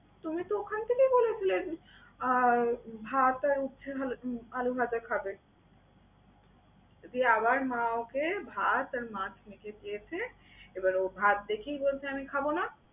তুমি তো অখান থেকেই বলছিলে আহ যে ভাত আর হচ্ছে আলু ভাজা খাবে। যেয়ে আবার মা ওকে ভাত আর মাছ মেখে দিয়েছে। এবার ও ভাত দেখেই বলছে আমি খাবো না।